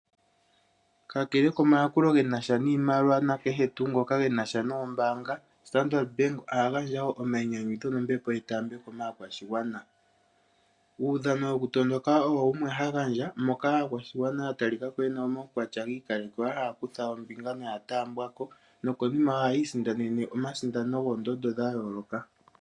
Kakele komayakulo genasha niimaliwa nenge omayakulo kehe ngoka genasha noombanga. Standard bank oha gandja wo omayinyanyudho nombepo yetaambeko kaakwashigwana. Uudhano wokutondoka owo wumwe hagandja moka aakwashigwana ya talikako yena omaukwatya giikalekelwa haya kutha ombinga noya taambiwako nokonima ohaya sindana omasindano goondondo dha yooloka.